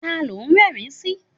Ta ló ń rẹ́rìn-ín sí?